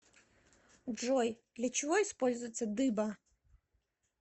джой для чего используется дыба